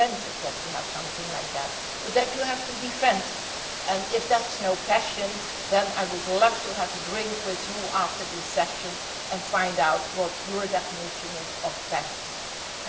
take something like that for granted but that you have to defend it, and if that is not passion, then I would love to have a drink with you after this session and find out what your definition of passion is.